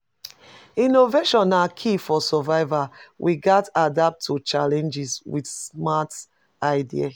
Innovation na key for survival; we gats adapt to challenges with smart ideas.